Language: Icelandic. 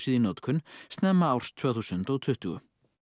í notkun snemma árs tvö þúsund og tuttugu